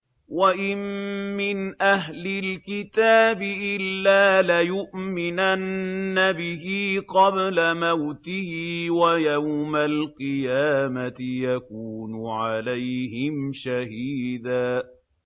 وَإِن مِّنْ أَهْلِ الْكِتَابِ إِلَّا لَيُؤْمِنَنَّ بِهِ قَبْلَ مَوْتِهِ ۖ وَيَوْمَ الْقِيَامَةِ يَكُونُ عَلَيْهِمْ شَهِيدًا